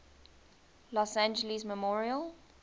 los angeles memorial